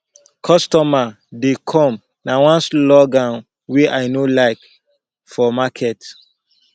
customer dey come na one slogan wey i no dey like for market